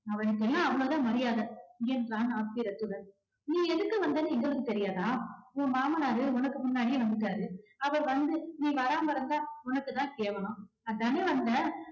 அவனுக்கு எல்லாம் அவ்வளவு தான் மரியாதை என்றான் ஆத்திரத்துடன். நீ எதுக்கு வந்தேன்னு எங்களுக்கு தெரியாதா உன் மாமனாரு உனக்கு முன்னாடியே வந்துட்டாரு அவர் வந்து நீ வராம இருந்தா உனக்கு தான் கேவலம்